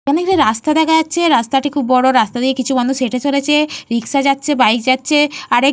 এখানে একটি রাস্তা দেখা যাচ্ছে রাস্তাটির বড়। কিছু মানুষ হেটে চলেছে রিস্কা যাচ্ছে বাইক যাচ্ছে আর --